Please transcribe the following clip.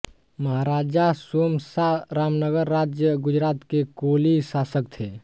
महाराजा सोम शाह रामनगर राज्य गुजरात के कोली शासक थे